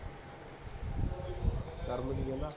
ਕਿ ਕਹਿੰਦਾ